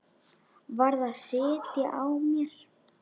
Varð að sitja á mér.